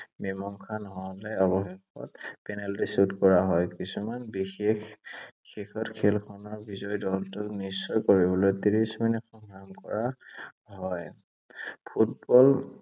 মীমাংসা নহʼলে অৱশেষত পেনালটি shoot কৰা হয়। কিছুমান বিশেষ শেষত খেলখনৰ বিজয়ী দলটোক নিশ্চয় কৰিবলৈ ত্ৰিশ মিনিট সংযোগ কৰা হয়।